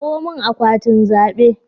Kawo min akwatin zabe